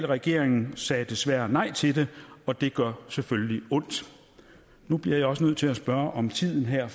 regeringen sagde desværre nej til det og det gør selvfølgelig ondt nu bliver jeg også nødt til at spørge om tiden her